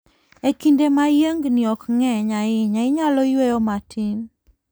E kinde ma yiengni ok ng'eny ahinya, inyalo yueyo matin.